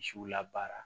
Misiw la baara